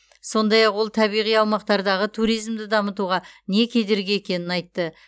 сондай ақ ол табиғи аумақтардағы туризмді дамытуға не кедергі екенін айтты